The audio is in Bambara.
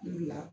La